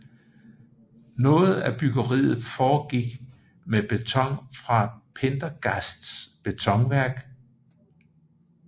Noget af byggeriet foregik med beton fra Pendergasts betonværk